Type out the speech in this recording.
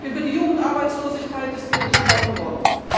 Über die Jugendarbeitslosigkeit ist viel gesprochen worden.